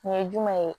Nin ye jumɛn ye